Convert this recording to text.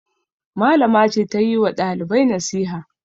Malama ce ta yi wa ɗalibai nasiha.